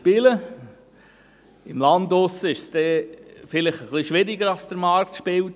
Auf dem Land wird es vielleicht etwas schwieriger, dass der Markt spielt.